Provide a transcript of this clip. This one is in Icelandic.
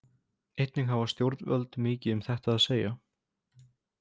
Einnig hafa stjórnvöld mikið um þetta að segja.